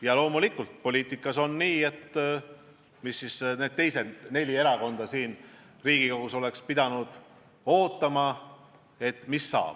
Ja loomulikult, miks siis need teised neli parlamendierakonda oleks pidanud ootama, mis saab.